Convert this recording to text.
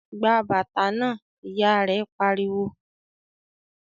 "Gba bàtà náà!", Ìyá rẹ̀ pariwo